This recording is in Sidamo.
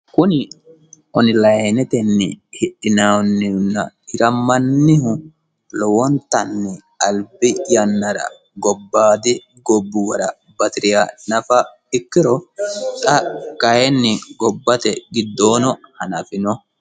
Kunni oniliyinetenni Hidhinanninna hiramannihu lowontanni albi yannara gobayidi gobuwara batiriha nafa ikiro xa kayinni gobate gidoono hanafino.